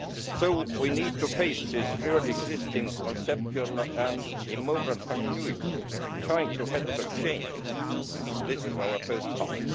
So we need to face this real existing conceptual and immoral continuity trying to help change it. This is our first task.